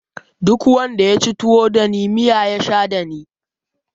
Duk wanda yaci tuwo dani miya ya sha dani